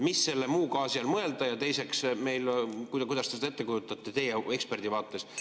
Mida selle muu gaasi all mõelda ja teiseks, kuidas te seda ette kujutate – teie kui ekspert?